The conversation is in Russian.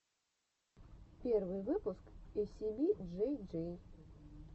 первый выпуск эйсиби джей джей